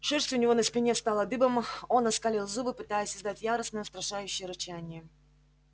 шерсть у него на спине встала дыбом он оскалил зубы пытаясь издать яростное устрашающее рычание